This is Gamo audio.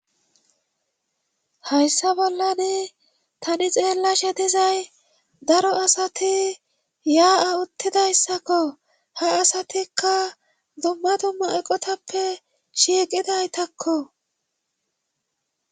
Hayssa bollani tani xeella shetizay daro asati yaa7a uttidayssakko ha asatikka dumma dumma eqotappe shiiqidaytakko.